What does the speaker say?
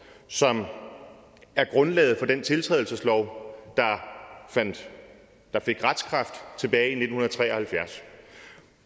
som er grundlaget for den tiltrædelseslov der fik retskraft tilbage i nitten tre og halvfjerds